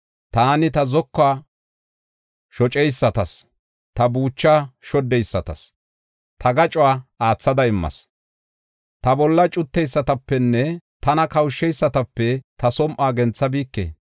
Taani ta zokuwa shoceysatas, ta buuchaa shoddeysatas ta gacuwa aathada immas. Ta bolla cutteysatapenne tana kawusheysatape ta som7uwa genthabike.